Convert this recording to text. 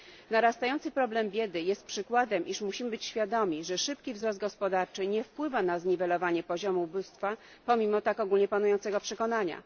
Narastający problem biedy jest przykładem, iż musimy być świadomi, że szybki wzrost gospodarczy nie wpływa na zniwelowanie poziomu ubóstwa, pomimo tak ogólnie panującego przekonania.